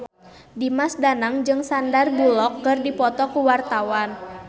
Dimas Danang jeung Sandar Bullock keur dipoto ku wartawan